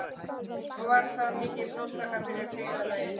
Var það mikil blóðtaka fyrir byggðarlagið.